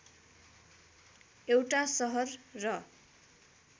एउटा शहर र